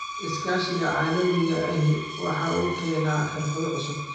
Iskaashiga caalamiga ahi waxa uu keenaa xirfado cusub.